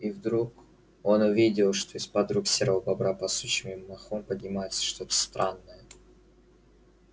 и вдруг он увидел что из под рук серого бобра под сучьями и мхом поднимается что то странное